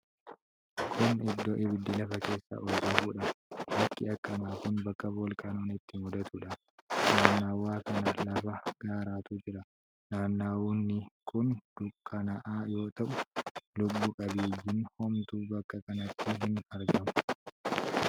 Kun iddoo ibiddi lafa keessaa ol danfuudha. Bakki akkanaa kun bakka volkaanoon itti muudatuudha. Naannawa kana lafa gaaraatu jira. Naannawni kun dukkanaa'aa yoo ta'u, lubbu qabeeyyiin homtuu bakka kanatti hin argamu.